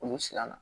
Olu siranna